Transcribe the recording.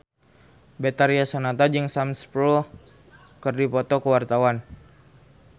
Betharia Sonata jeung Sam Spruell keur dipoto ku wartawan